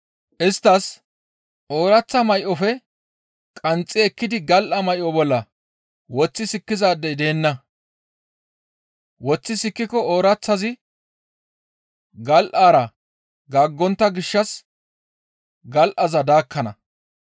Isttas, «Ooraththa may7ofe qanxxi ekkidi gal7a may7o bolla woththi sikkizaadey deenna; woththi sikkiko ooraththazi gal7aara gaaggontta gishshas gal7aza daakkana.